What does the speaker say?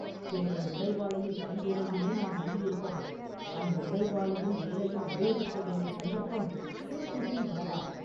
என்னுடைய உடைவாளையும் கைவேலையுமே நான் நம்பியிருப்பவன்!”“அந்த உடைவாளையும் வேலையும் உபயோகிக்க வேண்டிய சந்தர்ப்பம் சீக்கிரத்தில் வரலாம்.